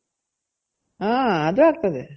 ಹಾ ಅದು ಆಗ್ತದೆ